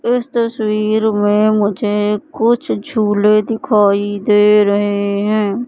इस तस्वीर में मुझे कुछ झूले दिखाई दे रहे है।